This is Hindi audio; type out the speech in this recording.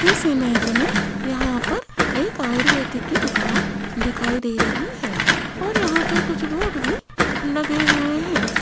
इस इमेज में यहां पर एक आयुर्वेदिक की दुकान दिखाई दे रही है और यहां पर कुछ बोर्ड भी लगे हुए हैं।